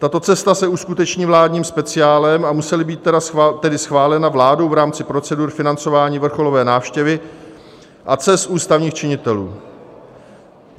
Tato cesta se uskuteční vládním speciálem, a musela být tedy schválena vládou v rámci procedur financování vrcholové návštěvy a cest ústavních činitelů.